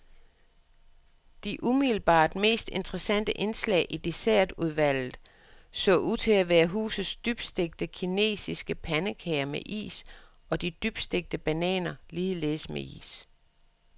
De umiddelbart mest interessante indslag i dessertudvalget så ud til at være husets dybstegte kinesiske pandekage med is og de dybstegte bananer, ligeledes med is.